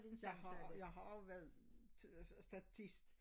Jeg har jeg har været statisk